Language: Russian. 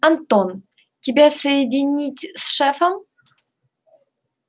антон тебя соединить с шефом